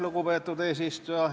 Lugupeetud eesistuja!